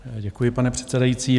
Děkuji, pane předsedající.